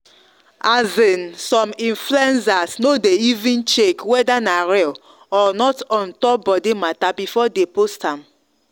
as in some influencers no dey even check weda na real or not ontop body matter before dey post am